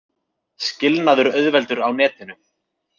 Skilnaður auðveldur á netinu